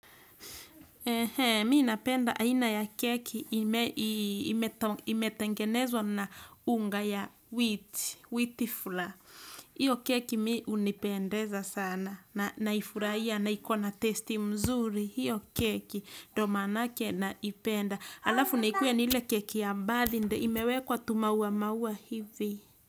Mimi napenda aina ya keki imetengenezwa na unga ya wheat flour hiyo keki mi hunipendeza sana naifurahia na ikona taste mzuri. Hiyo keki ndio manake naipenda. Alafu naikue ni ile keki ya birthday imewekwa tumaua maua hivi.